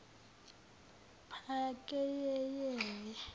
pakeyeyeli